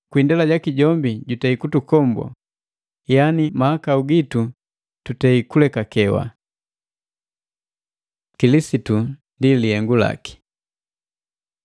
Kwi indela jaki jombi jutukombwi, yani mahakau gitu tutei kulekakewa. Kilisitu ni lihengu laki